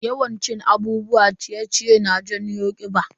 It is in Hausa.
Yawan cin abubuwan ciye-ciye na jawo kiɓa.